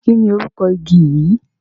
kínni orúkọ igi yìí?